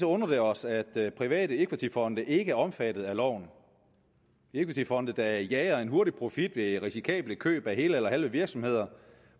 undrer det os at private equityfonde ikke er omfattet af loven equityfonde der jager en hurtig profit ved risikable køb af hele eller halve virksomheder